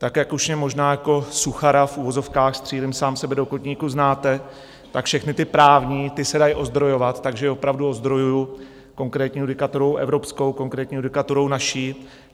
Tak, jak už mě možná jako suchara v uvozovkách, střílím sám sebe do kotníků, znáte, tak všechny ty právní, ty se dají ozdrojovat, takže opravdu ozdrojuji konkrétní judikaturou evropskou, konkrétní judikaturou naší.